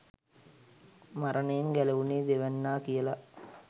මරණයෙන් ගැලවුණේ දෙවැන්නා කියල.